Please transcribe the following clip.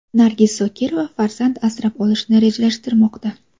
Nargiz Zokirova farzand asrab olishni rejalashtirmoqda.